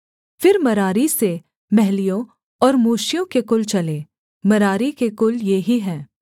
फिर मरारी से महलियों और मूशियों के कुल चले मरारी के कुल ये ही हैं